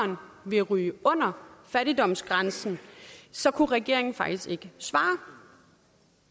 der ville ryge under fattigdomsgrænsen så kunne regeringen faktisk ikke svare